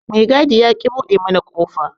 Me gadi yaƙi buɗe mana kofa.